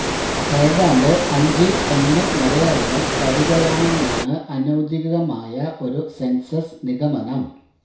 ഏതാണ്ട് അഞ്ചിൽ ഒന്നു മലയാളികൾ കവികളാണെന്നാണ് അനൌദ്യോഗികമായ ഒരു സെൻസസ് നിഗമനം